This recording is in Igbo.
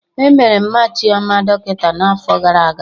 Emere Mma Chioma dọkịta n'afọ gara aga